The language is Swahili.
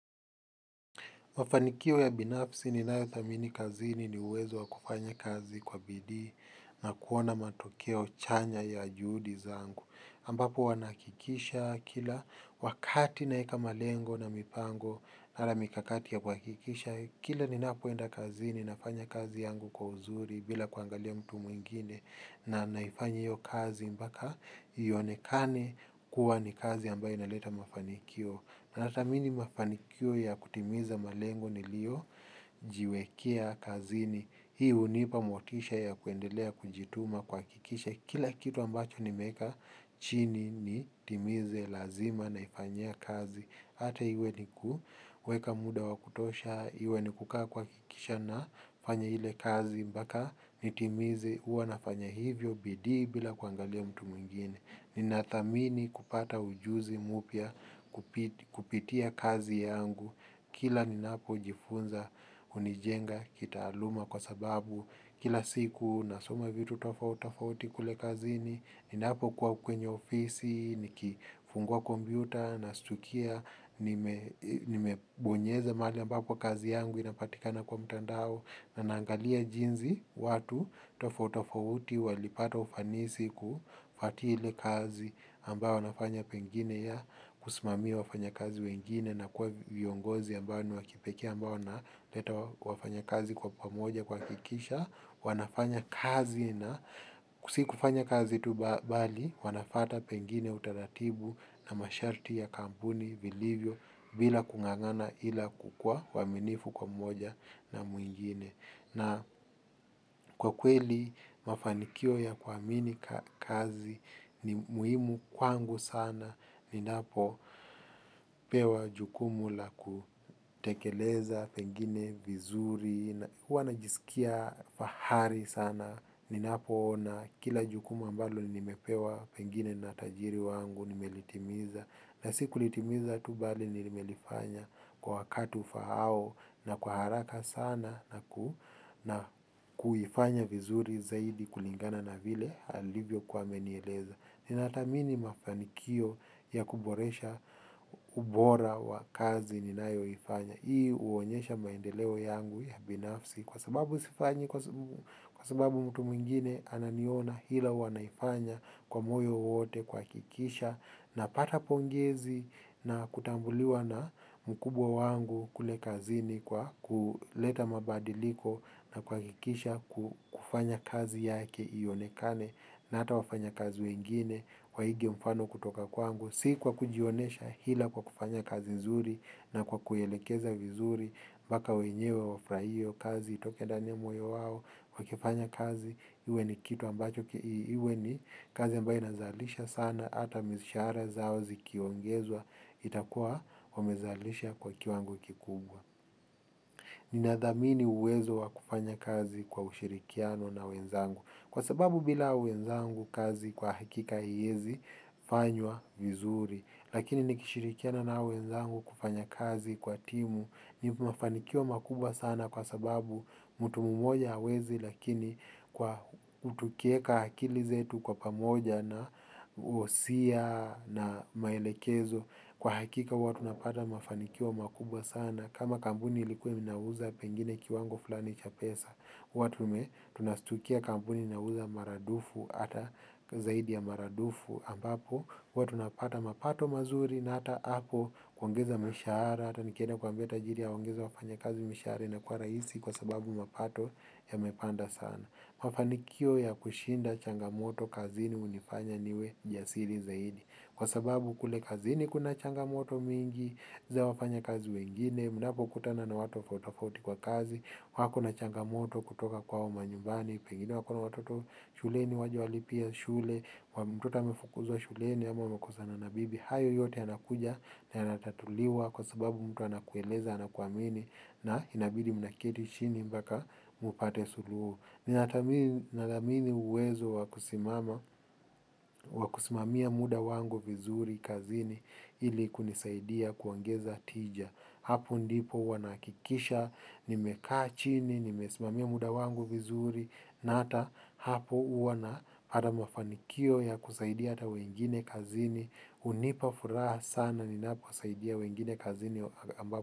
Mafanikio ya binafsi ninayo thamini kazini ni uwezo wa kufanya kazi kwa bidii na kuona matokeo chanya ya juhudi zangu. Ambapo wanahakikisha kila wakati naweka malengo na mipango wala mikakati ya kuhakikisha, kila ninapoenda kazini nafanya kazi yangu kwa uzuri bila kuangalia mtu mwingine na naifanya hiyo kazi mpaka yaonekane kuwa ni kazi ambayo inaleta mafanikio. Na thamini mafanikio ya kutimiza malengo niliyojiwekea kazini. Hii hunipa motisha ya kuendelea kujituma kuhakikisha. Kila kitu ambacho nimeweka chini nitimize lazima naifanyia kazi. Hata iwe nikuweka muda wa kutosha, iwe ni kukaa kuhakikisha nafanya ile kazi mpaka nitimize huwa nafanya hivyo bidii bila kuangalia mtu mwingine. Ninathamini kupata ujuzi mpya kupitia kazi yangu kila ninapojifunza hunijenga kitaaluma kwa sababu kila siku nasoma vitu tofauti tofauti kule kazini, ninapokuwa kwenye ofisi nikifungua kompyuta nashtukia nime nimebonyeze mahali ambapo kazi yangu inapatikana kwa mtandao na naangalia jinsi watu tofauti tofauti walipata ufanisi kufuatia ile kazi ambao wanafanya pengine ya kusimamia wafanyakazi wengine na kuwa viongozi ambao ni wa kipekee ambao wanaleta wafanyakazi kwa pamoja kuhakikisha wanafanya kazi na si kufanya kazi tu bali wanafuata pengine utaratibu na masharti ya kampuni vilivyo bila kung'ang'ana ila kukuwa waaminifu kwa moja na mwingine. Na kwa kweli mafanikio ya kuamini kazi ni muhimu kwangu sana ninapopewa jukumu la kutekeleza pengine vizuri, huwa najisikia fahari sana. Ninapoona kila jukumu ambalo nimepewa pengine na tajiri wangu nimelitimiza. Na sikulitimiza tu bali nimelifanya kwa wakati ufaao na kwa haraka sana na kuifanya vizuri zaidi kulingana na vile alivyokuwa amenieleza. Ninathamini mafanikio ya kuboresha ubora wa kazi ninayoifanya. Hii huonyesha maendeleo yangu ya binafsi kwa sababu sifanyi kwa sababu mtu mwingine ananiona ila huwa ninaifanya kwa moyo wote kuhakikisha napata pongezi na kutambuliwa na mkubwa wangu kule kazini kwa kuleta mabadiliko na kuhakikisha ku kufanya kazi yake ionekane na hata wafanyakazi wengine waige mfano kutoka kwangu. Si kwa kujionyesha ila kwa kufanya kazi nzuri na kwa kuielekeza vizuri, mpaka wenyewe wafurahie hiyo kazi, itoke ndani ya moyo wao, wakifanya kazi, iwe ni kitu ambacho, iwe ni kazi ambayo inazalisha sana, hata mishahara zao zikiongezwa, itakuwa wamezalisha kwa kiwango kikubwa. Ninadhamini uwezo wa kufanya kazi kwa ushirikiano na wenzangu. Kwa sababu bila wenzangu kazi kwa hakika hawezi fanywa vizuri. Lakini nikishirikiana na wenzangu kufanya kazi kwa timu ni mafanikio makubwa sana kwa sababu mtu mmoja hawezi lakini kwa tukiweka akili zetu kwa pamoja na wosia na maelekezo kwa hakika huwa tunapata mafanikio makubwa sana kama kampuni ilikuwa inauza pengine kiwango fulani cha pesa huwa tume tunashtukia kampuni inauza maradufu hata zaidi ya maradufu ambapo huwa tunapata mapato mazuri na hata hapo kuongeza mishahara. Hata nikienda kuambia tajiri awaongeza wafanyakazi mishahara inakuwa rahisi kwa sababu mapato yamepanda sana. Mafanikio ya kushinda changamoto kazini hunifanya niwe jasiri zaidi. Kwa sababu kule kazini kuna changamoto mingi, za wafanyakazi wengine, mnapokutana na watu tofauti tofauti kwa kazi, wako na changamoto kutoka kwao manyumbani, pengine wako na watoto shuleni hawajewalipia shule, mtoto amefukuzwa shuleni ama wamekosana bibi, hayo yote yanakuja na yanatatuliwa kwa sababu mtu anakueleza, anakuamini na inabidi mnaketi chini mpaka mpate suluhu. Ninathamini uwezo wakusimamia muda wangu vizuri kazini ili kunisaidia kuongeza tija. Hapo ndipo huwa ninahakikisha, nimekaachini, nimesimamia muda wangu vizuri, na hata hapo huwa napata mafanikio ya kusaidia hata wengine kazini. Hunipa furaha sana ninapowasaidia wengine kazini ambapo.